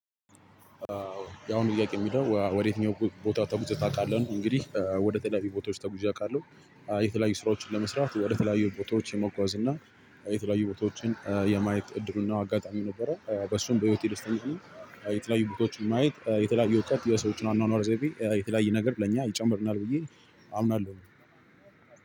አሁን ጥያቄው የሚለው ወዴየትኛው ቦታ ተጉዘት ታውቃለህ? እንግዲህ ወደ ተለያዩ ቦታዎች ተጉዣ አውቃለሁ። የተለያዩ ስራዎችን ለመስራት ወደ ተለያዩ ቦታዎች የመጓዝ እና የተለያዩ ቦታዎችን የማየት እድሉ እና አጋጣሚ ነበረ በሱም በህይወቴ ደስታ እንጂ የተለያዩ ቦታዎችን ማየት የተለያዩ እውቀት የሰዎችን አኗኗር ዘይቤ የተለያየ ነገር ለእኛ ይጨምርልናል ብዬ አምናለሁ።